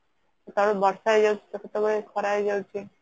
କେତେବେଳେ ବର୍ଷା ହେଇଯାଉଛି ତ କେତେବେଳେ ଖରା ହେଇଯାଉଛି